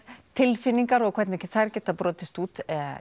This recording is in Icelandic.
tilfinningar og hvernig þær geta brotist út